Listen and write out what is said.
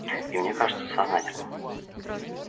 и мне кажется сознательно